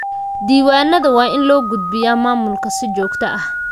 Diiwaanada waa in loo gudbiyaa maamulka si joogto ah.